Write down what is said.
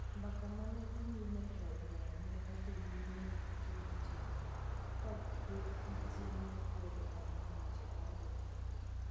Mbaka ma ne dhi nyime e Od Romo ne odhi nyime nyaka chuny otieno, ka kweth matin ne kwedo ahinya wach mar Doho Maduong '.